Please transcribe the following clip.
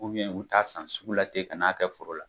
u bi taa san sugu la ten ka n'a kɛ foro la.